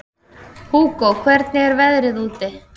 Hugó, hvernig er veðrið úti?